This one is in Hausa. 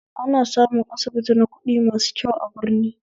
Ana samun asibiti na kuɗi masu kyau a birni